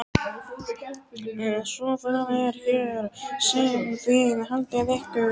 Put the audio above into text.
Svo það er hér sem þið haldið ykkur.